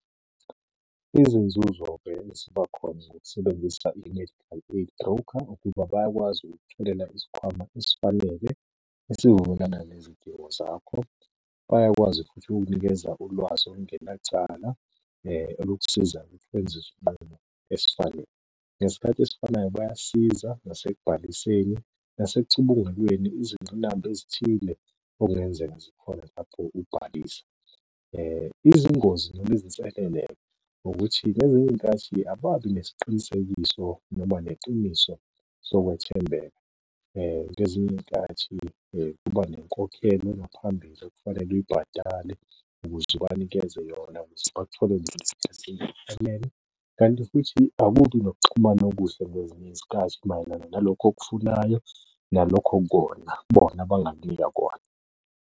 Izinzuzo-ke eziba khona ngokusebenzisa i-medical aid broker ukuba bayakwazi ukukutholela isikhwama esifanele esivumelana nezidingo zakho. Bayakwazi futhi ukukunikeza ulwazi olungenacala, olukusiza ngokuthi wenze isinqumo esifanele. Ngesikhathi esifanayo bayasiza nasekubhaliseni, nasekucubungulweni izingqinamba ezithile okungenzeka zikhona lapho ubhalisa. Izingozi noma izinselele ukuthi ngezinye iy'nkathi ababi nesiqinisekiso noma neqiniso sokwethembeka. Ngezinye iy'nkathi kuba nenkokhelo ngaphambili okufanele uyibhadale ukuze ubanikeze yona, , kanti futhi akubi nokuxhumana okuhle ngezinye izikhathi mayelana nalokho okufunayo nalokho okukona bona abangakunika kona.